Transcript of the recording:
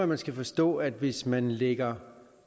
man skal forstå at hvis man lægger